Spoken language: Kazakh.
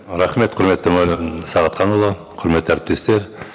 рахмет құрметті мәулен сағатханұлы құрметті әріптестер